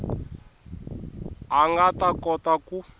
a nga ta kota ku